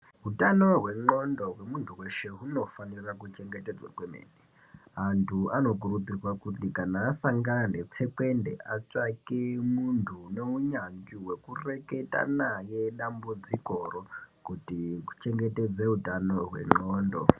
Utano hwendxondo hwemuntu weshe hunofanira kuchengetedzwa kwemene Antu anokurudzirwa kuti kana asangana netsekwende atsvake muntu une unyanzvi hwekureketa naye dambudzikoro kuti uchengetedze utano hwendxondo.